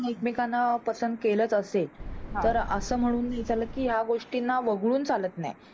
आपण एकमेकांना पसंद केल असेल तर असं म्हणून नाही चालत कि या गोष्टीना वगळून हि चालत नाही.